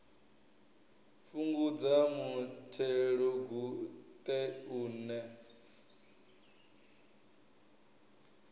fhungudza muthelogu ṱe u ne